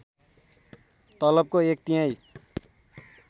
तलबको एक तिहाई